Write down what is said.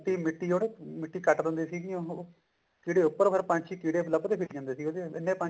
ਮਿੱਟੀ ਜਿਹੜੀ ਮਿੱਟੀ ਕੱਟ ਦਿੰਦੇ ਸੀ ਉਹ ਫ਼ੇਰ ਉੱਪਰ ਫ਼ੇਰ ਪੰਛੀ ਕੀੜੇ ਲੱਭਦੇ ਫਿਰਿ ਜਾਂਦੇ ਸੀਗੇ ਇੰਨੇ ਪੰਛੀ